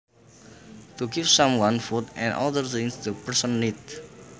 To give someone food and other things the person needs